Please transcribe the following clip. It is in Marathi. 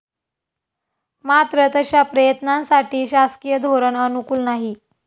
मात्र तशा प्रयत्नांसाठी शासकीय धोरण अनुकूल नाही.